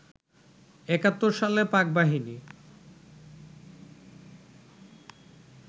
একাত্তর সালে পাক বাহিনী